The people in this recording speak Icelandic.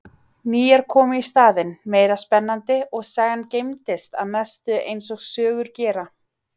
Nýjar komu í staðinn, meira spennandi, og sagan gleymdist að mestu eins og sögur gera.